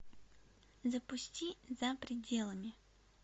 запусти за пределами